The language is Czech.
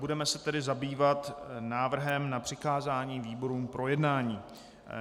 Budeme se tedy zabývat návrhem na přikázání výborům k projednání.